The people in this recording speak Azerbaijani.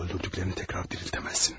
Öldürdüklərini təkrar dirildə bilməzsən.